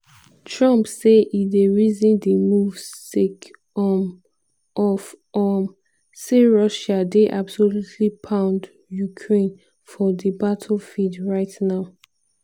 trump say e dey reason di move sake um of um say "russia dey absolutely pound ukraine for di battlefield right now".